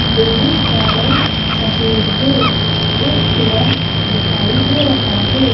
Building रंग सफेद है एक पिलर दिखाई दे रहा है।